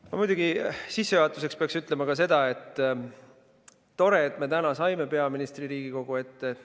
Ma muidugi sissejuhatuseks pean ütlema ka seda, et tore, et me täna saime peaministri Riigikogu ette.